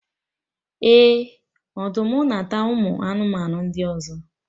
Eh! Ọdụm na-ata ụmụ anụmanụ ndị ọzọ